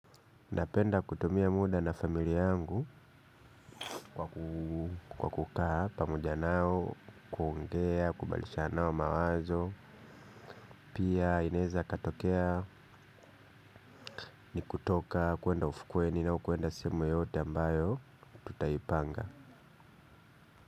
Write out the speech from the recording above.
Napenda kutumia muda na familia yangu. Kwa kukaa pamoja nao kuongea kubadilishana nao mawazo. Pia inaeza katokea ni kutoka kwenda ufukweni au kwenda sehemu yoyote ambayo tutaipanga.